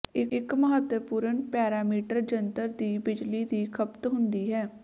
ਇੱਕ ਮਹੱਤਵਪੂਰਨ ਪੈਰਾਮੀਟਰ ਜੰਤਰ ਦੀ ਬਿਜਲੀ ਦੀ ਖਪਤ ਹੁੰਦੀ ਹੈ